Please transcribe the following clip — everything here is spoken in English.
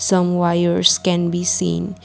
some wires can be seen.